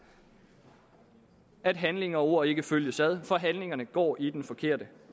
at handling og ord ikke følges ad for handlingerne går i den forkerte